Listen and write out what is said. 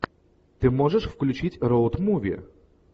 ты можешь включить роуд муви